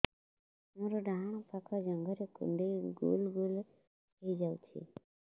ମୋର ଡାହାଣ ପାଖ ଜଙ୍ଘରେ କୁଣ୍ଡେଇ ଗୋଲ ଗୋଲ ହେଇଯାଉଛି